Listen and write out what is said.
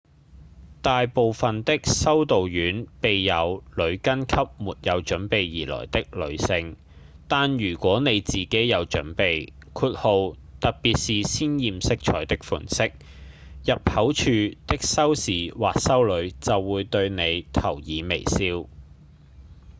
大部分的修道院備有裹巾給沒有準備而來的女性但如果你自己有準備特別是鮮豔色彩的款式入口處的修士或修女就會對你投以微笑